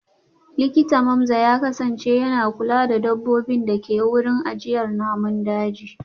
Likita Mamza ya kasance yana kula da dabbobin da ke wurin ajiyar namun daji